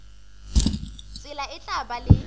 tsela e tla ba le